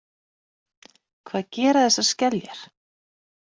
Hvað gera þessar skeljar?